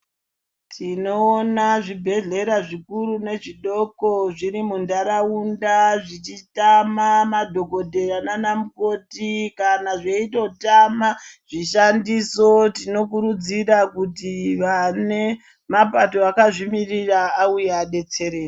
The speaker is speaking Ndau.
Tinoona zvibhedhlera zvikuru nezvidoko zviri muntaraunda zvichiita madhogodheya nana mukoti kana zveitotama zvishandiso. Tinokurudzira kuti vane mapato akazvimiririra vauye vabetsere.